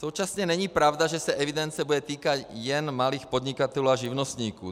Současně není pravda, že se evidence bude týkat jen malých podnikatelů a živnostníků.